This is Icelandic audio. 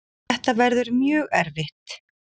Þetta verður mjög erfitt.